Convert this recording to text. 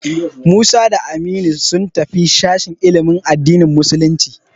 Musa da Aminu sun tafi sashen ilimin addinin musulunci.